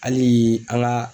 Hali an ka